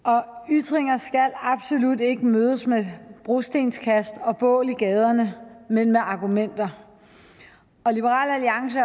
ytringer skal absolut ikke mødes med brostenskast og bål i gaderne men med argumenter liberal alliance